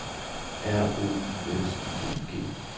R O U S I N G